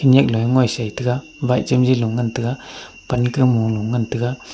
nyiak le ngoi sai taiga wa lung taiga pan kam mo mo ngantai ga.